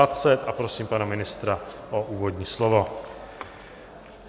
A prosím pana ministra o úvodní slovo.